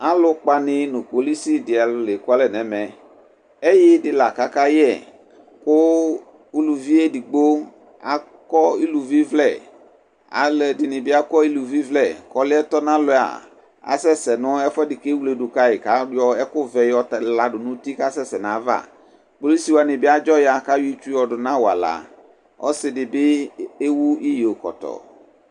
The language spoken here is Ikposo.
Alú kpaludini nu kpolusi dini la ekualɛ nɛmɛ ɛyui di la akayɛ ku uluvi edigbo akɔ uluvi vlɛ alɛdini bi akɔ iluvivlɛ ɔliɛ tɔnalɛ asɛsɛnu ɛfuɛdi ku ewledu ka kayɔ ɛkuvɛ yɔ kadu hafi nu uti kɔkasɛsɛ nayava kpɔlusi wani bi adzo ya kayɔ itsu du nu awala ɔsidini bi ewu iyo kɔtɔ